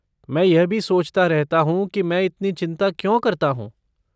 मैं यह भी सोचता रहता हूँ कि मैं इतनी चिंता क्यों करता हूँ।